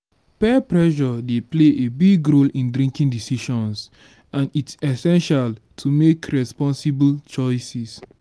peer pressure dey play a big role in drinking decisions and its essential to make responsible choices.